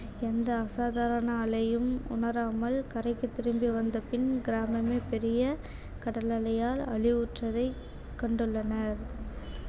எந்த அசாதாரண அலையும் உணராமல் கரைக்கு திரும்பி வந்தபின் கிராமமே பெரிய கடலலையால் அழிவுற்றதை கண்டுள்ளனர்